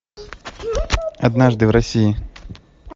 однажды в россии